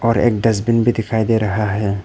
और एक डस्टबिन भी दिखाई दे रहा है।